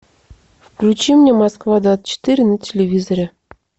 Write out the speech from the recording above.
включи мне москва двадцать четыре на телевизоре